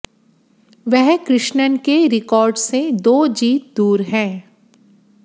वह कृष्णन के रिकॉर्ड से दो जीत दूर है